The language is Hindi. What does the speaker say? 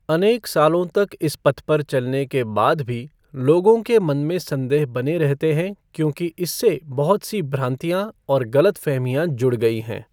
अनेक सालों तक इस पथ पर चलने के बाद भी लोगों के मन में संदेह बने रहते हैं क्योंकि इससे बहुत सी भ्रांतियां और गलतफ़हमियां जुड़ गई हैं।